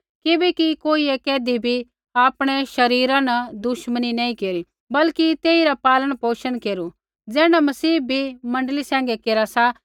किबैकि कोइयै कैधी भी आपणै शरीरा न दुश्मनी नैंई केरी बल्कि तेइरा पालनपोषण केरा सा ज़ैण्ढा मसीह भी मण्डली सैंघै केरा सा